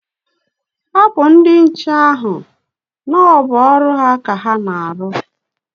Hapụ ndi nche ahụ na o bụ ọrụ ha ka ha na-arụ ọrụ.